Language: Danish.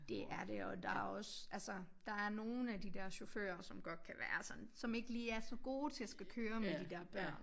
Det er det og der er også altså der er nogen af de der chaufføre som godt kan være sådan som ikke lige er så gode til at skulle køre med de der børn